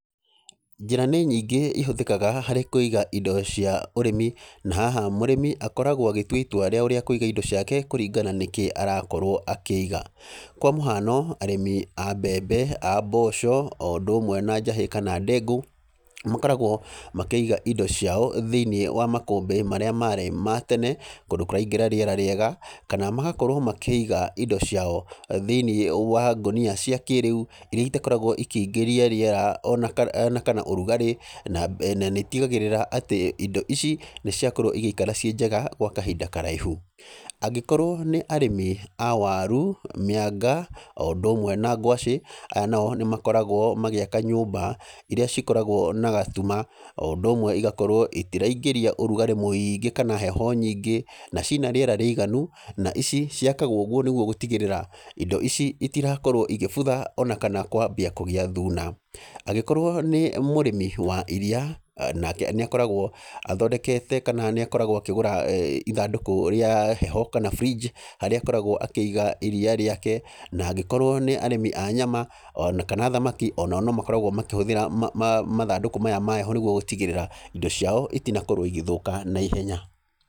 Njĩra nĩ nyingĩ ihũthĩkaga harĩ kũiga indo cia ũrĩmi. Na haha mũrĩmi akoragwo agĩtua itua rĩao rĩa kũiga indo ciake kũringana nĩkĩ arakorwo akĩiga. Kwa mũhano, arĩmi a mbembe, a mboco, o ũndũ ũmwe na njahĩ kana ndengũ, makoragwo makĩiga indo ciao thĩiniĩ wa makũmbĩ marĩa marĩ ma tene, kũndũ kũraingĩra rĩera rĩega. Kana magakorwo makĩiga indo ciao, thĩiniĩ wa ngũnia cia kĩrĩu, irĩa itakoragwo ikĩingĩria rĩera ona kana ona kana ũrugarĩ, na nĩ itigagĩrĩra atĩ indo ici, nĩ ciakorwo igĩikara ciĩ njega gwa kahinda karaihu. Angĩkorwo nĩ arĩmi a waru, mĩanga, o ũndũ ũmwe na ngwacĩ, aya nao nĩ makoragwo magĩaka nyũmba, irĩa cikoragwo na gatuma, o ũndũ ũmwe igakorwo itiraingĩria ũrugarĩ mũingĩ kana heho nyingĩ, na cina rĩera rĩiganu, na ici ciakwagwo ũgũo nĩguo gũtigĩrĩra indo ici itirakorwo igĩbutha, ona kana kwambia kũgĩa thuna. Angĩkorwo nĩ mũrĩmi wa iriia, nake nĩ akoragwo athondekete kana nĩ akoragwo akĩgũra ithandũkũ rĩa heho kana fridge, harĩa akoragwo akĩiga iriia rĩake. Na angĩkorwo nĩ arĩmi a nyama, ona kana thamaki, onao no makoragwo makĩhũthĩra mathandũkũ maya ma heho nĩguo gũtigĩrĩra indo ciao itinakorwo igĩthũka naihenya.